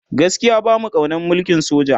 gaskia bamu kaunan mulkin soja